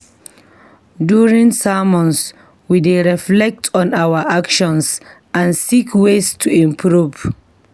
During sermons, we dey reflect on our actions and seek ways to improve.